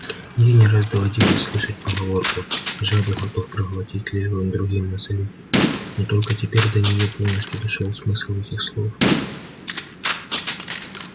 ей не раз доводилось слышать поговорку жабу готов проглотить лишь бы другим насолить но только теперь до нее полностью дошёл смысл этих слов